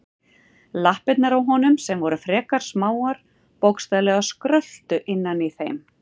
Lappirnar á honum, sem voru frekar smáar, bókstaflega skröltu innan í þeim.